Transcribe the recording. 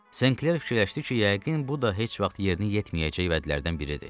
Senkler fikirləşdi ki, yəqin bu da heç vaxt yerini yetməyəcək vədlərdən biridir.